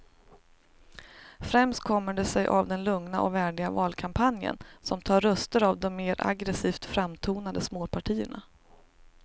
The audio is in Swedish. Främst kommer det sig av den lugna och värdiga valkampanjen som tar röster av de mer aggresivt framtonade småpartierna.